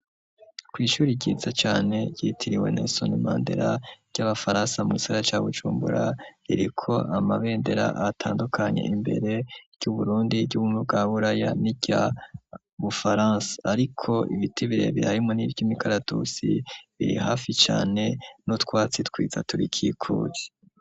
Kw'ishuri ryiza cane ryitiriwe Nelson Mandera ry'abafaransa mu gisagara ca Bujumbura, iriko amabendera atandukanye imbere, iryu Burundi, iry'Ubumwe bwa Buraya, niry'u Bufaransa, ariko ibiti birebire harimwo nivy'imikaratusi biri hafi cane n'utwatsi twiza turikikuje.